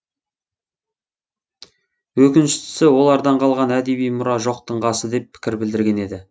өкініштісі олардан қалған әдеби мұра жоқтың қасы деп пікір білдірген еді